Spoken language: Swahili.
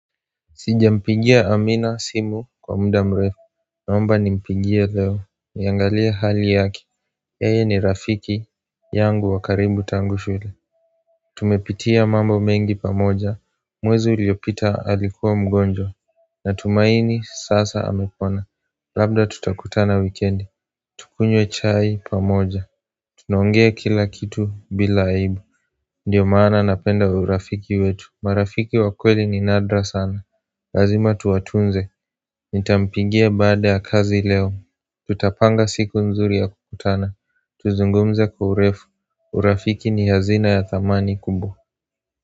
Sijampigia amina simu kwa muda mrefu Naomba ni mpigie leo niangalie hali yaki yeye ni rafiki yangu wakaribu tangushule Tumepitia mambo mengi pamoja Mwezi uliopita alikuwa mgonjwa na tumaini sasa amepona Labda tutakutana wikiendi Tukunywe chai pamoja Tunaongea kila kitu bila aibu Ndiyo maana napenda urafiki wetu marafiki wakweli ni nadra sana Lazima tuwatunze Nitampigia baada ya kazi leo Tutapanga siku nzuri ya kukutana Tuzungumze kwa urefu urafiki ni hazina ya thamani kubwa.